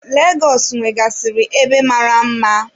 Legọs nwegasiri ebe mara mma.